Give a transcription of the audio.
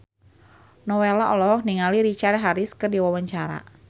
Nowela olohok ningali Richard Harris keur diwawancara